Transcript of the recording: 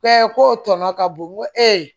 ko tɔnɔ ka bon n ko